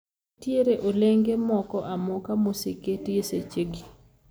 Nitiere olenge moko amoka moseketi e sechegi